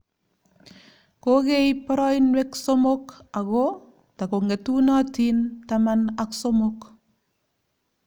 Kokeib boroinwek somok ago takong'etunotin taman ak somok.